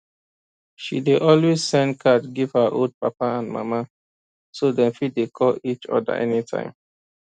she dey always send card give her old papa and mama so dem fit dey call each oda any time